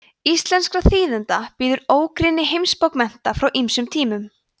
íslenskra þýðenda bíður ógrynni heimsbókmennta frá ýmsum tímum